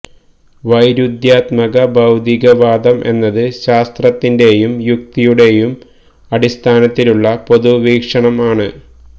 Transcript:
വൈരുദ്ധ്യാത്മക ഭൌതിക വാദം എന്നത് ശാസ്ത്രത്തിന്റെയും യുക്തിയുടേയും അടിസ്ഥാനത്തിലുള്ള പൊതു വീക്ഷണം ആണ്